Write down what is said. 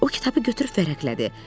O kitabı götürüb vərəqlədi.